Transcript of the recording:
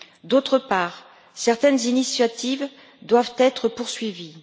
D'autre part, certaines initiatives doivent être poursuivies.